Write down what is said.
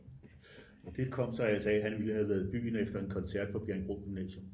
Og det kom sig altså af at han ville have været i byen efter en koncert på Bjerringbro Gymnasium